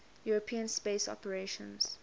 european space operations